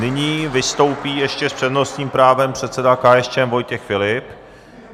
Nyní vystoupí ještě s přednostním právem předseda KSČM Vojtěch Filip.